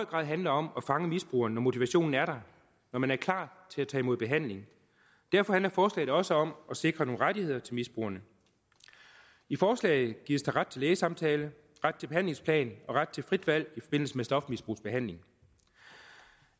grad handler om at fange misbrugeren når motivationen er der og man er klar til at tage imod behandling derfor handler forslaget også om at sikre nogle rettigheder til misbrugerne i forslaget gives der ret til lægesamtale ret til behandlingsplan og ret til frit valg i forbindelse med stofmisbrugsbehandling